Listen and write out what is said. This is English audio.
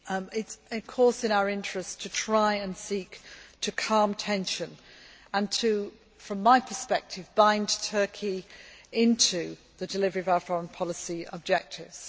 It is, of course, in our interests to try and seek to calm tension and, from my perspective, to bind Turkey into the delivery of our foreign policy objectives.